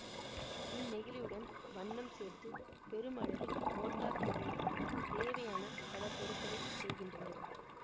இந்நெகிழியுடன் வண்ணம் சேர்த்து பெருமளவில் மோட்டார் தொழிலில் தேவையான பல பொருள்களை செய்கின்றனர்